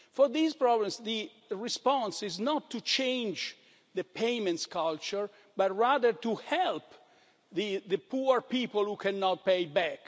For these problems, the response is not to change the payments culture but rather to help the poor people who cannot pay back.